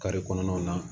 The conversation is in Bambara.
kɔnɔnaw na